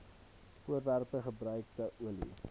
voorwerpe gebruikte olie